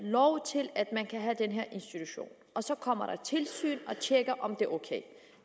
lov til at man kan have den her institution og så kommer der et tilsyn og tjekker om det er ok